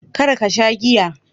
Kar ka sha giya.